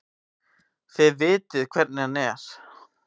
Þið vitið hvernig hann er.